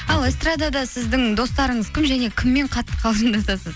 ал эстрадада сіздің достарыңыз кім және кіммен атты қалжыңдасасыз